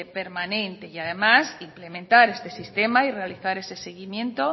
permanente y además implementar este sistema y realizar ese seguimiento